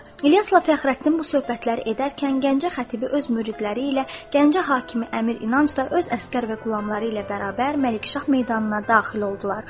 İlyasla Fəxrəddin bu söhbətlər edərkən Gəncə xətibi öz müridləri ilə Gəncə hakimi əmir İnanc da öz əsgər və qulamları ilə bərabər Məlikşah meydanına daxil oldular.